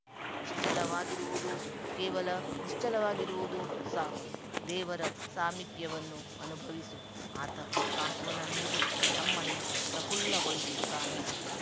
ನಿಶ್ಚಲವಾಗಿರುವುದು ಕೇವಲ ನಿಶ್ಚಲವಾಗಿರುವುದು ಸಾಕು ದೇವರ ಸಾಮೀಪ್ಯವನ್ನು ಅನುಭವಿಸು ಆತ ಸಾಂತ್ವನ ನೀಡಿ ನಮ್ಮನ್ನು ಪ್ರಫುಲ್ಲ ಗೊಳಿಸುತ್ತಾನೆ